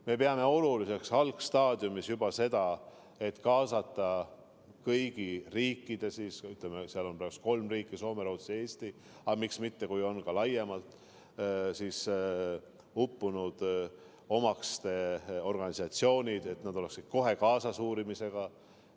Me peame juba algstaadiumis oluliseks seda, et kaasata kõigi riikide – seal on praegu kolm riiki: Soome, Rootsi ja Eesti, aga miks mitte ka teised – uppunute omaste organisatsioonid, et nad oleksid kohe uurimisse kaasatud.